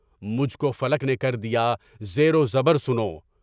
مجھ کو فلک نے کر دیا زیر و زبر سنو!